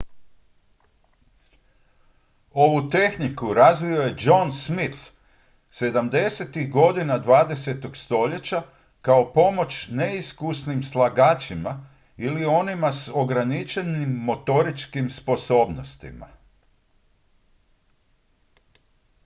ovu tehniku razvio je john smith 70-ih godina 20. stoljeća kao pomoć neiskusnim slagačima ili onima s ograničenim motoričkim sposobnostima